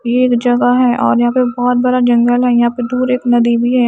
ये एक जगह है और यहां पे बहोत बड़ा जंगल है यहां पे दूर एक नदी भी है।